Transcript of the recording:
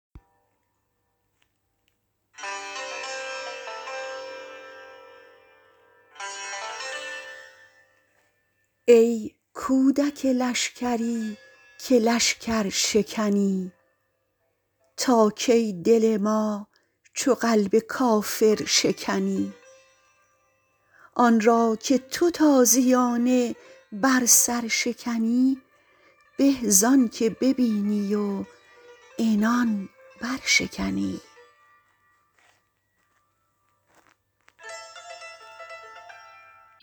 ای کودک لشکری که لشکر شکنی تا کی دل ما چو قلب کافر شکنی آن را که تو تازیانه بر سر شکنی به زآن که ببینی و عنان برشکنی